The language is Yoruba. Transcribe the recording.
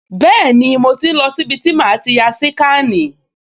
Bẹ́ẹ̀ni, mo ti ń lọ sí ibi tí màá ti ya síkànì